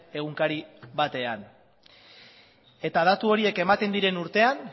egunkari batean eta datu horiek ematen diren urtean